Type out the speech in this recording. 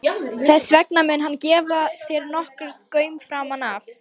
Þess vegna mun hann gefa þér nokkurn gaum framan af.